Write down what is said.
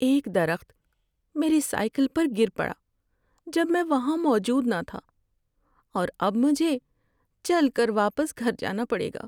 ایک درخت میری سائیکل پر گر پڑا جب میں وہاں موجود نہ تھا، اور اب مجھے چل کر واپس گھر جانا پڑے گا۔